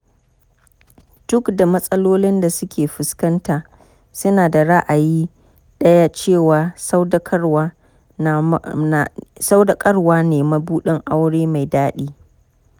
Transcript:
Duk da matsalolin da suke fuskanta, suna da ra'ayi ɗaya cewa sadaukarwa ne mabuɗin aure mai daɗi.